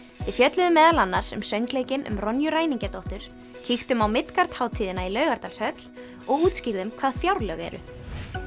við fjölluðum meðal annars um söngleikinn um ræningjadóttur kíktum á hátíðina í Laugardalshöll og útskýrðum hvað fjárlög eru